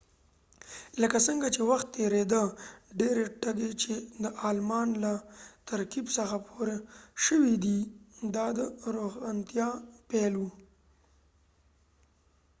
لکه څنګه چې وخت تیریده ډیری ټکي چې د آلمان له ترکیب څخه پور شوي دي دا د روښانتیا پیل و